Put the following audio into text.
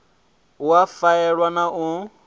u a faela na u